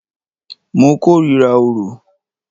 Mo kòrira orò.